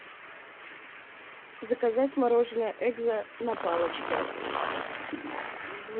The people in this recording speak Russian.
заказать мороженое экзо на палочке